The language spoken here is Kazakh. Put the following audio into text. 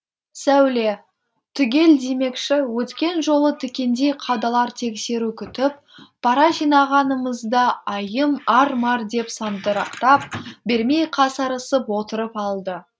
сәуле түгел демекші өткен жолы тікендей қадалар тексеру күтіп пара жинағанымызда айым ар мар деп сандырақтап бермей қасарысып отырып алды